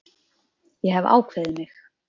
Ég hef ákveðið mig.